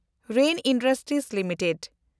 ᱨᱮᱱ industries limited